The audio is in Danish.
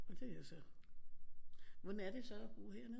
Og det er jo så hvordan er det så at bo hernede